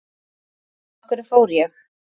Af hverju fór ég?